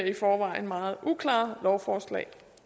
i forvejen meget uklare lovforslag